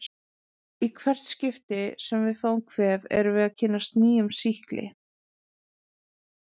Í hvert skipti sem við fáum kvef erum við að kynnast nýjum sýkli.